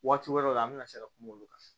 Waati wɛrɛw la an bɛna se ka kuma olu kan